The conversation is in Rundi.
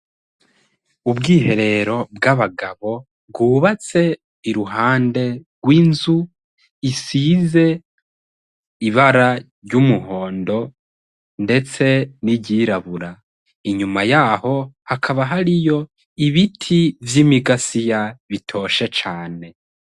Ubwiherero bw'abagabo bwubatse iruhande rw'inzu isize ibara ry'umuhondo, ndetse n'iryirabura inyuma yaho hakaba hari yo ibiti vy'imigasiya bitoshe cane.